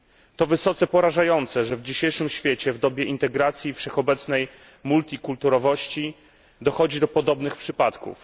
To wysoce porażające, że w dzisiejszym świecie, w dobie integracji i wszechobecnej wielokulturowości dochodzi do podobnych przypadków.